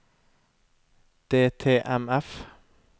DTMF